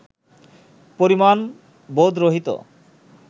পরিমাণ-বোধ-রহিত